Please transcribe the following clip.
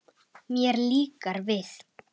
Mér líkar við